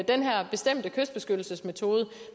den her bestemte kystbeskyttelsemetode